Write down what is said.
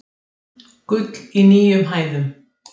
Gull í nýjum hæðum